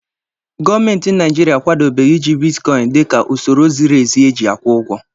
Gọọmenti Naijiria akwadobeghị iji bitkọịn dịka usoro ziri ezi e ji akwụ ụgwọ.